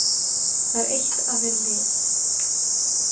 Það er eitt að vera lið.